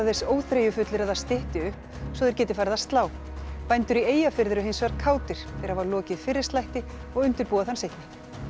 þess óþreyjufullir að það stytti upp svo þeir geti farið að slá bændur í Eyjafirði eru hinsvegar kátir þeir hafa lokið fyrri slætti og undirbúa þann seinni